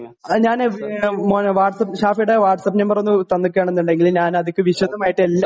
ഞാന് മോന് വാട്ടസാപ്പ് ഷാഫിയുടെ വാട്ടസാപ്പ് നമ്പർ തന്നിക്കിയാണെന്നുണ്ടെങ്കിൽ ഞാനതിക്കി വിശദമായിട്ട് എല്ലാം